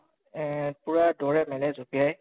এহ পুৰা দৌৰে মেলে জপিয়ায়